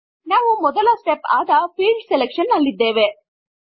ನಾವು ಮೊದಲ ಸ್ಟೆಪ್ ಆದ ಫೀಲ್ಡ್ ಸೆಲೆಕ್ಷನ್ ನಲ್ಲಿದ್ದೇವೆ